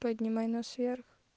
поднимай нос вверх